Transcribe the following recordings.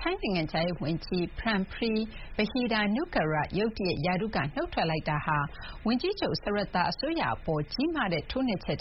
ထိုင်းနိုင်ငံခြားရေးဝန်ကြီး Parnpree Bahiddha-Nukara နုတ်ထွက်မှုဟာ ဘယ်လောက်အရေးပါလဲ။ "ထိုင်းနိုင်ငံမှာရှိတဲ့ ကျမတို့အတွက်ကတော့ Srettha အစိုးရအဖွဲ့အပေါ် ကြီးမားတဲ့ ထိုးနှက်ချက်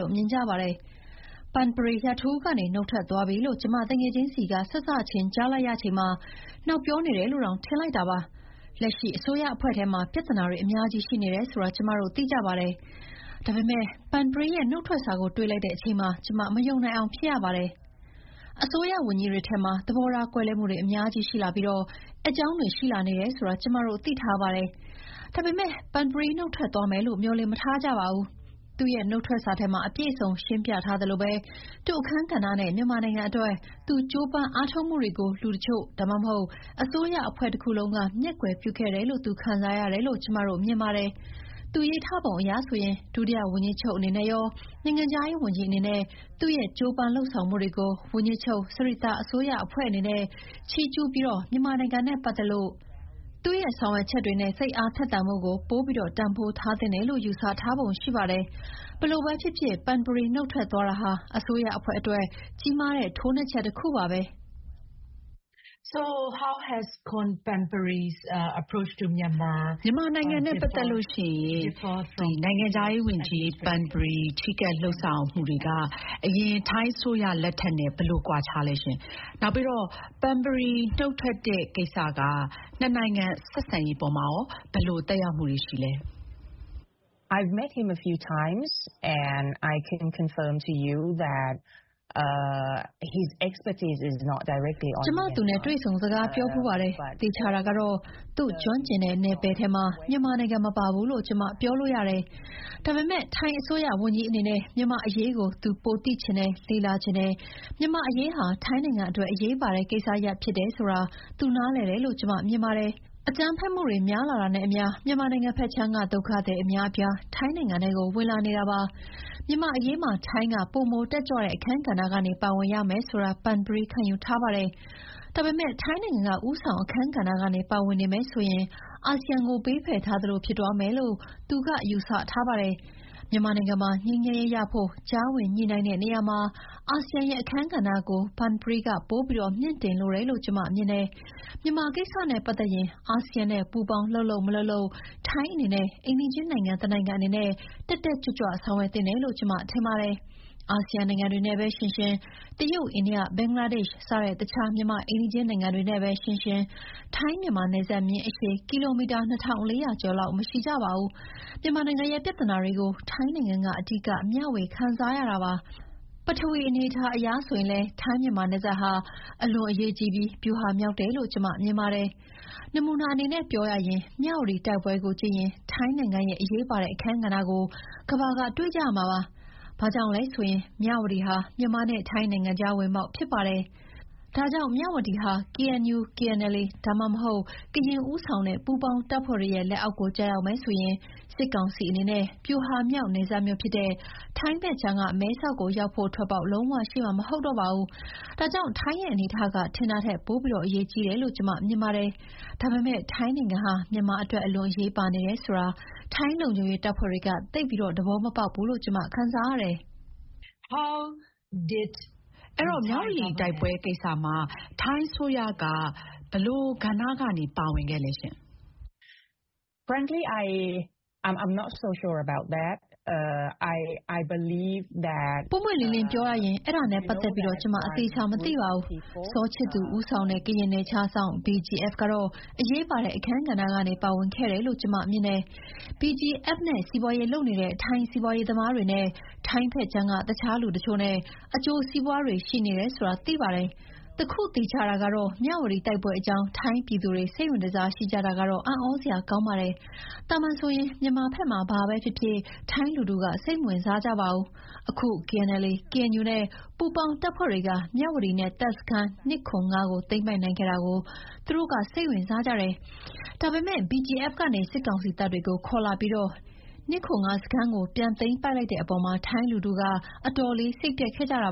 လို့မြင်ကြပါတယ်။ Parnpree ရာထူးကနေ နုတ်ထွက်သွားပြီလို့ ကျမ သူငယ်ချင်းဆီက စစချင်းကြားလိုက်ရချိန်မှာ နောက်ပြောနေတယ်လို့တောင် ထင်လိုက်တာပါ။ လက်ရှိအစိုးရအဖွဲ့ထဲမှာ ပြဿနာတွေအများကြီးရှိနေတယ်ဆိုတာ ကျမတို့သိကြပါတယ်။ ဒါပေမဲ့ Parnpree ရဲ့ နုတ်ထွက်စာကို တွေ့လိုက်တဲ့အချိန်မှာ ကျမ မယုံနိုင်အောင်ဖြစ်ရပါတယ်။ အစိုးရဝန်ကြီးတွေထဲမှာ သဘောထားကွဲလွဲမှုတွေ အများကြီးရှိလာပြီး အက်ကြောင်းတွေရှိလာနေတယ်ဆိုတာ ကျမတို့ သိထားပါတယ်။ ဒါပေမဲ့ Parnpree နုတ်ထွက်သွားမယ်လို့ မျှော်လင့် မထားကြဘူး။ ဒါပေမဲ့ သူ့နုတ်ထွက်စာထဲမှာ အပြည့်အစုံရှင်းပြထားသလိုပဲ သူ့အခန်းကဏ္ဍနဲ့ မြန်မာနိုင်ငံအတွက် သူကြိုးပမ်းအားထုတ်မှုတွေကို လူတချို့ ဒါမှမဟုတ် အစိုးရအဖွဲ့တခုလုံး က မျက်ကွယ်ပြုခဲ့တယ်လို့ သူခံစားရတယ်လို့ ကျမမြင်ပါတယ်။ သူရေးထားပုံအရဆိုရင် ဒုတိယဝန်ကြီးချုပ်အနေနဲ့ရော၊ နိုင်ငံခြားရေးဝန်ကြီးအနေနဲ့ သူ့ရဲ့ကြိုးပမ်းလုပ်ဆောင်မှုတွေကို ဝန်ကြီးချုပ် Srettha အစိုးရအဖွဲ့အနေနဲ့ ချီးကျူးပြီးတော့ မြန်မာနိုင်ငံနဲ့ပတ်သက်လို့ သူ့ရဲ့ ဆောင်ရွက်ချက်တွေနဲ့ စိတ်အားထက်သန်မှုကို ပိုပြီးတန်ဖိုးထားသင့်တယ်လို့ ယူဆထားပုံရှိပါတယ်။ ဘယ်လိုပဲဖြစ်ဖြစ်Parnpree နုတ်ထွက်သွားတာဟာ အစိုးရအဖွဲ့အတွက် ကြီးမားတဲ့ ထိုးနှက်ချက်တခုပါပဲ။ ဗွီအိုအေ။ ။ ဒီတော့ မြန်မာနိုင်ငံနဲ့ပတ်သက်လို့ Parnparee ချဉ်းကပ် လုပ်ဆောင်မှုတွေဟာ အရင်ထိုင်းအစိုးရနဲ့ ဘယ်လိုကွာခြားသလဲ၊ နောက်ပြီး Parnpree နုတ်ထွက်တဲ့ကိစ္စက နှစ်နိုင်ငံဆက်ဆံရေးအပေါ် ဘယ်လိုသက်ရောက်မှုရှိလဲ။ ကျမ သူနဲ့ တွေ့ဆုံ စကားပြောဖူးပါတယ်။ သေချာတာကတော့ သူ့ကျွမ်းကျင်တဲ့နယ်ပယ်ထဲမှာ မြန်မာနိုင်ငံမပါဘူးလို့ ကျမ ပြောလို့ရတယ်။ ဒါပေမယ့် ထိုင်းအစိုးရဝန်ကြီးအနေနဲ့ မြန်မာ့အရေးကို သူပိုသိချင်တယ်၊ လေ့လာချင်တယ်။ မြန်မာ့အရေးဟာ ထိုင်းနိုင်ငံအတွက် အရေးပါတဲ့ကိစ္စရပ်ဖြစ်တယ်ဆိုတာ သူနားလည်တယ်လို့ ကျမမြင်ပါတယ်။ အကြမ်းဖက်မှုတွေ များလာတာနဲ့အမျှ မြန်မာနိုင်ငံဘက်ခြမ်းက ဒုက္ခသည်အများအပြား ထိုင်းနိုင်ငံထဲကို ၀င်လာနေတာပါ။ မြန်မာ့အရေးမှာ ထိုင်းက ပိုမိုတက်ကြွတဲ့အခန်းကဏ္ဍကနေပါဝင်ရမယ်ဆိုတာ Parnparee ခံယူထားပါတယ်။ ဒါပေမဲ့ ထိုင်းနိုင်ငံက ဦးဆောင်အခန်းကဏ္ဍကနေ ပါဝင်နေမယ်ဆိုရင် အာဆီယံကို ဘေးဖယ်ထားသလိုဖြစ်သွားမယ်လို့ သူက ယူဆထားပါတယ်။ မြန်မာနိုင်ငံမှာ ငြိမ်းချမ်းရေးရဖို့ ကြားဝင်ညှိနှိုင်းတဲ့နေရာမှာ အာဆီယံရဲ့အခန်းကဏ္ဍကို Parnparee က ပိုပြီးမြှင့်တင်လိုတယ်လို့ ကျမမြင်တယ်။ မြန်မာကိစ္စနဲ့ပတ်သက်ရင် အာဆီယံနဲ့ ပူးပေါင်းလုပ်လုပ်မလုပ်လုပ် ထိုင်းအနေနဲ့ အိမ်နီးချင်းနိုင်ငံတနိုင်ငံအနေနဲ့ တက်တက်ကြွကြွဆောင်ရွက်သင့်တယ်လို့ ကျမထင်တယ်။ အာဆီယံနိုင်ငံတွေနဲ့ပဲယှဥ်ယှဥ်၊ တရုတ်၊ အိန္ဒိယ၊ ဘင်္ဂလားဒေ့ရှ် စတဲ့ အခြားမြန်မာ့အိမ်နီချင်းနိုင်ငံတွေနဲ့ပဲယှဥ်ယှဥ် ထိုင်းမြန်မာနယ်စပ်မျဥ်းအရှည် ကီလိုမီတာ ၂,၄၀၀ ကျော်လောက် မရှိကြပါဘူး။ မြန်မာနိုင်ငံရဲ့ပြဿနာတွေကို ထိုင်းနိုင်ငံက အဓိကမျှဝေခံစားရတာပါ။ ပထဝီအနေအထားအရဆိုရင်လည်း ထိုင်း-မြန်မာနယ်စပ်ဟာ အလွန်အရေးကြီးပြီး ဗျူဟာမြောက်တယ်လို့ ကျမမြင်တယ်။" နမူနာအနေနဲ့ပြောရရင် မြဝတီတိုက်ပွဲကိုကြည့်ရင် ထိုင်းနိုင်ငံရဲ့ အရေးပါတဲ့အခန်းကဏ္ဍကို ကမ္ဘာကတွေ့ကြရမှာပါ။ ဘာကြောင့်လဲဆိုရင် မြဝတီဟာ မြန်မာနဲ့ထိုင်းနိုင်ငံကြား ဝင်ပေါက်ဖြစ်တယ်။ ဒါကြောင့် မြဝတီဟာ KNU/KNLA ဒါမှမဟုတ် ကရင်ဦးဆောင်တဲ့ ပူးပေါင်းတပ်ဖွဲ့တွေရဲ့ လက်အောက်ကို ကျရောက်မယ်ဆိုရင် စစ်ကောင်စီအနေနဲ့ ဗျူဟာမြောက် နယ်စပ်မြို့ဖြစ်တဲ့ ထိုင်းဘက်ခြမ်းက မဲဆောက်ကိုရောက်ဖို့ ထွက်ပေါက်လုံးဝရှိမှာ မဟုတ်တော့ဘူး။ ဒါကြောင့် ထိုင်းရဲ့အနေအထားက ထင်တာထက် ပိုအရေးကြီးတယ်လို့ ကျမမြင်တယ်။ ဒါပေမဲ့ ထိုင်းနိုင်ငံဟာ မြန်မာအတွက် အလွန်အရေးပါနေတယ်ဆိုတာ ထိုင်းလုံခြုံရေးတပ်ဖွဲ့တွေက သိပ်သဘောမပေါက်ဘူးလို့ ကျမခံစားရတယ်။" ဗွီအိုအေ။ ။ ဒီမြဝတီတိုက်ပွဲကိစ္စမှာ ထိုင်းအစိုးရက ဘယ်လိုအခန်းကဏ္ဍက ပါဝင်ခဲ့သလဲ။ "ပွင့်ပွင့်လင်းလင်းပြောရရင် အဲဒါနဲ့ပတ်သက်ပြီး ကျမ အသေအချာမသိပါဘူး။ စောချစ်သူဦးဆောင်တဲ့ ကရင်နယ်ခြားစောင့် BGF ကတော့ အရေးပါတဲ့ အခန်းကဏ္ဍကနေ ပါဝင်ခဲ့တယ်လို့ကျမ မြင်တယ်။ BGF နဲ့ စီးပွားရေးလုပ်နေတဲ့ ထိုင်းစီးပွားရေးသမားတွေနဲ့ ထိုင်းဘက်ခြမ်းက အခြားလူတချို့နဲ့ အကျိုးစီးပွားတွေရှိနေတယ်ဆိုတာ သိပါတယ်။ တခုသေချာတာကတော့ မြဝတီတိုက်ပွဲအကြောင်း ထိုင်းပြည်သူတွေ စိတ်ဝင်တစားရှိကြတာကတော့ အံ့သြစရာကောင်းပါတယ်။ သာမန်ဆိုရင် မြန်မာဘက်မှာ ဘာပဲဖြစ်ဖြစ် ထိုင်းလူထုက စိတ်မဝင်စားကြဘူး။ အခု KNLA/KNU နဲ့ ပူးပေါင်းတပ်ဖွဲ့တွေက မြဝတီနဲ့ တပ်စခန်း ၂၇၅ ကိုသိမ်းပိုက်နိုင်ခဲ့တာကို သူတို့ စိတ်ဝင်စားကြတယ်။ ဒါပေမဲ့ BGF ကနေ စစ်ကောင်စီတပ်တွေကို ခေါ်လာပြီး ၂၇၅ စခန်းကို ပြန်သိမ်းပိုက်လိုက်တဲ့အပေါ်မှာ ထိုင်းလူထုက အတော်လေးစိတ်ပျက်ခဲ့ကြတ